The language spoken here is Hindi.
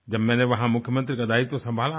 जब मैंने वहाँ मुख्यमंत्री का दायित्व संभाला था